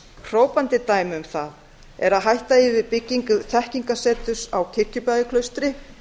hrópandi dæmi um það er að hætta eigi við byggingu þekkingarseturs á kirkjubæjarklaustri